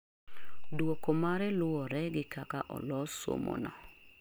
duoko mare luore gi kak alos somo no